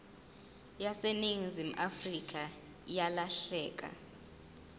yaseningizimu afrika yalahleka